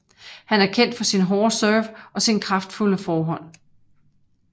Han er kendt for sin hårde serv og sin kraftfulde forhånd